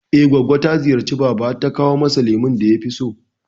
I goggo ta ziyarci baba har ta kawo masa lemon da yafi so